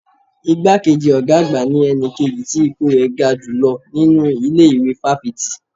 Igbá kejì ọ̀gá àgbà ní ẹni kejì tí ipò rẹ̀ ga jùlọ nínú ilé ìwé fáfitì